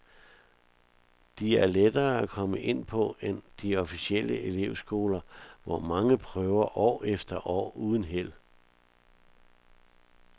De er lettere at komme ind på end de officielle elevskoler, hvor mange prøver år efter år uden held.